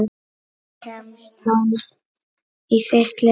Kemst hann í þitt lið?